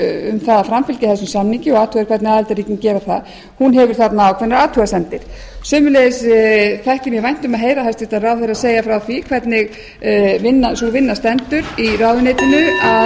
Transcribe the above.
um að framfylgja þessum samningi og athuga hvernig aðildarríkin geri það hefur ákveðnar athugasemdir sömuleiðis þætti mér vænt um að heyra hæstvirtur ráðherra segja frá því hvernig sú vinna stendur í ráðuneytinu að sjá til þess að fleiri nauðgunarkærur nái fram